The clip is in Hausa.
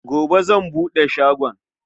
Gobe zan buɗe shagon.